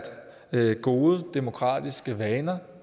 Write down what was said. at gode demokratiske vaner